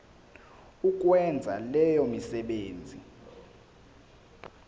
ukwenza leyo misebenzi